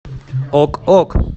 ок ок